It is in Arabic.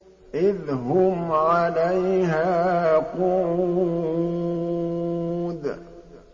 إِذْ هُمْ عَلَيْهَا قُعُودٌ